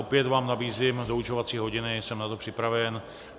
Opět vám nabízím doučovací hodiny, jsem na to připraven.